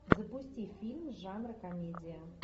запусти фильм жанра комедия